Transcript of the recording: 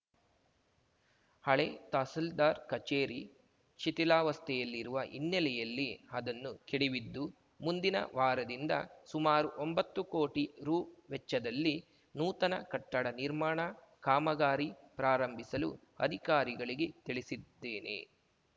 ಹಳೆ ತಹಸೀಲ್ದಾರ್‌ ಕಚೇರಿ ಶಿಥಿಲಾವಸ್ಥೆಯಲ್ಲಿರುವ ಹಿನ್ನೆಲೆಯಲ್ಲಿ ಅದನ್ನು ಕೆಡವಿದ್ದು ಮುಂದಿನ ವಾರದಿಂದ ಸುಮಾರು ಒಂಬತ್ತು ಕೋಟಿ ರು ವೆಚ್ಚದಲ್ಲಿ ನೂತನ ಕಟ್ಟಡ ನಿರ್ಮಾಣ ಕಾಮಗಾರಿ ಪ್ರಾರಂಭಿಸಲು ಅಧಿಕಾರಿಗಳಿಗೆ ತಿಳಿಸಿದ್ದೇನೆ